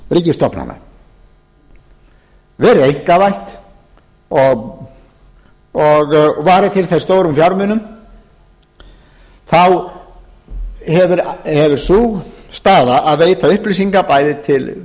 ríkisstofnana verið einkavætt og varið til þess stórum fjármunum þá hefur sú staða að veita upplýsingar bæði til